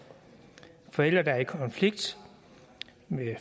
forældre der er i konflikt